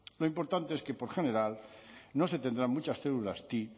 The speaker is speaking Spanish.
lo importante es que por general no se tendrán muchas células ti